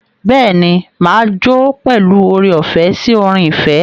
Bẹ́ẹ̀ ni, mà á jó pẹ̀lú oore-ọ̀fẹ́ sí orin ìfẹ́.